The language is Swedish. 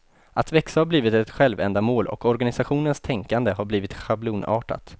Att växa har blivit ett självändamål och organisationens tänkande har blivit schablonartat.